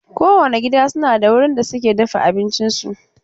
Kowane gida na da wurin da suke dafa abincinsu.